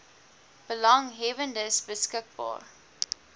belanghebbendes beskik baar